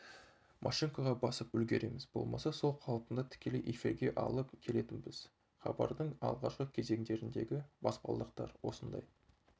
машинкаға басып үлгереміз болмаса сол қалпында тікелей эфирге алып келетінбіз хабардың алғашқы кезеңдеріндегі баспалдақтар осындай